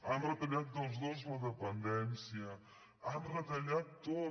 han retallat els dos la dependència ho han retallat tot